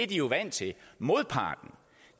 jo vant til modparten